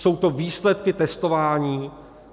Jsou to výsledky testování?